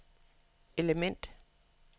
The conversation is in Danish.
element